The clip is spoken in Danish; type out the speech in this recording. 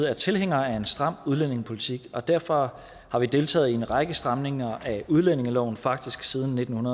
er tilhænger af en stram udlændingepolitik og derfor deltaget i en række stramninger af udlændingeloven faktisk siden nitten